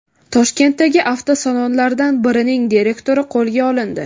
Toshkentdagi avtosalonlardan birining direktori qo‘lga olindi.